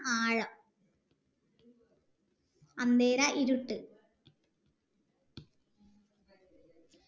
ആഴ ഇരുട്ട്